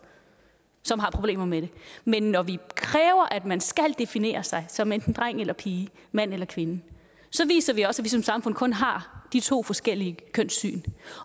som har problemer med det men når vi kræver at man skal definere sig som enten dreng eller pige mand eller kvinde så viser vi også at vi som samfund kun har de to forskellige kønssyn